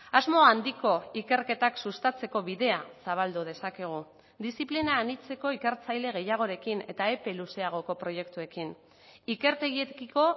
asmo handiko ikerketak sustatzeko bidea zabaldu dezakegu diziplina anitzeko ikertzaile gehiagorekin eta epe luzeagoko proiektuekin ikertegiekiko